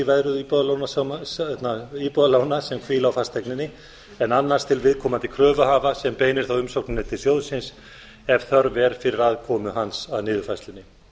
veðröð íbúðalána sem hvíla á fasteigninni en annars til viðkomandi kröfuhafa sem beinir þá umsókninni til sjóðsins ef þörf er á fyrir aðkomu hans að niðurfærslunni